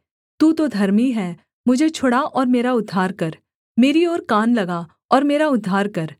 तू तो धर्मी है मुझे छुड़ा और मेरा उद्धार कर मेरी ओर कान लगा और मेरा उद्धार कर